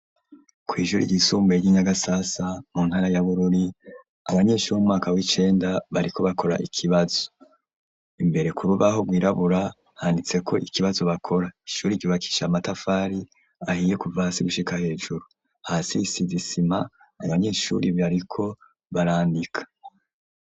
Kw'ishure ryisumbuye ry'i Nyagasasa mu ntara ya Bururi, abanyeshure bo mu mwaka w'icenda bariko bakora ikibazo, imbere k'urubaho rw'irabura handitseko ikibazo bakora, ishure ryubakishijwe amatafari ahiye kuva hasi gushika hejuru, hasi hasize isima abanyeshure bariko barandika.